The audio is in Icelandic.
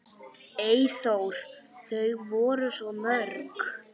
Eyþór: Þau eru svo mörg.